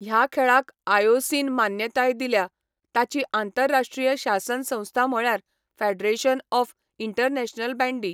ह्या खेळाक आयओसीन मान्यताय दिल्या, ताची आंतरराश्ट्रीय शासन संस्था म्हळ्यार 'फेडरेशन ऑफ इंटरनॅशनल बॅंडी'.